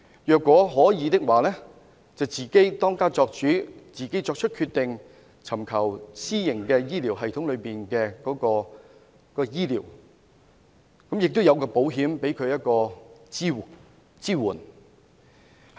如果可以的話，由他自己當家作主，自行作出決定，在私營醫療系統內接受醫療服務，亦有保險為他提供支援。